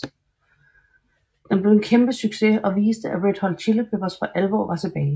Den blev en kæmpe succes og viste at Red Hot Chili Peppers for alvor var tilbage